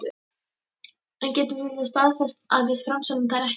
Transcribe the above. En getur þú þá staðfest að við framseljum þær ekki?